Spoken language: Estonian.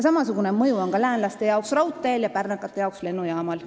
Samasugune mõju on läänlaste jaoks raudteel ja pärnakate jaoks lennujaamal.